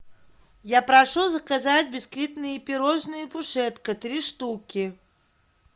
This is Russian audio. я прошу заказать бисквитные пирожные пушетка три штуки